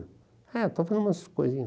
É, estou fazendo umas coisinhas.